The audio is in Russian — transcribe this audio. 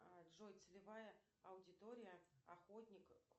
джой целевая аудитория охотник